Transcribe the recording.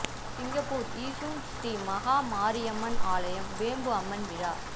Singapore Yishun Sri Maha Mariamman ஆலயம் வேம்பு அம்மன் விழா